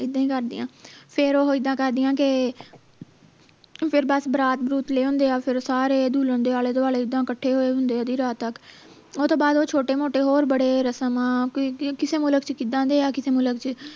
ਇੱਦਾਂ ਹੀ ਕਰਦਿਆਂ ਫੇਰ ਉਹ ਇੱਦਾਂ ਕਰਦਿਆਂ ਕੇ ਫੇਰ ਬਸ ਬਰਾਤ ਬਰੁਤ ਲੈ ਆਉਂਦੇ ਆ ਫੇਰ ਸਾਰੇ ਦੁਲਹਨ ਦੇ ਆਲੇ ਦੁਆਲੇ ਇੱਦਾਂ ਕੱਠੇ ਹੋਏ ਹੁੰਦੇ ਆ ਅੱਧੀ ਰਾਤ ਤਕ ਉਹ ਤੋਂ ਬਾਅਦ ਉਹ ਛੋਟੇ ਮੋਟੇ ਹੋਰ ਬੜੇ ਰਸਮਾਂ ਕਿ ਕਿਸੇ ਮੁਲਕ ਚ ਕਿੱਦਾਂ ਦੇ ਆ ਕਿਸੇ ਮੁਲਕ ਚ